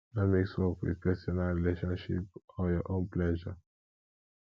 no mix work with personal relationship or your own pleasure